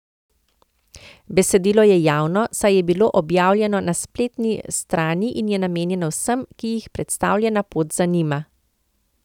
Besedilo je javno, saj je bilo objavljeno na spleti strani in je namenjeno vsem, ki jih predstavljena pot zanima.